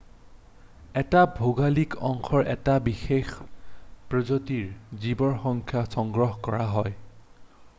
এটা ভৌগোলিক অঞ্চলৰ এটা বিশেষ প্ৰজাতিৰ জীৱৰ সংখ্যা সংগ্ৰহ কৰা হয়